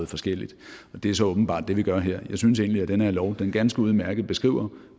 forskelligt og det er så åbenbart det vi gør her jeg synes egentlig at den her lov ganske udmærket beskriver